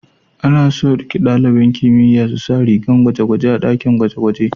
Ana so ɗaliban kimiyya su sa rigar gwaje-gwaje a ɗakin gwaje-gwaje.